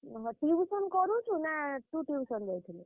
ଓହୋ tuition କରୁଚୁ ନା ତୁ tuition ଯାଇଥିଲୁ?